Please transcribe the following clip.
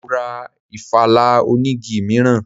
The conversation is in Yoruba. Mọ ra ìfala onigi mìíràn.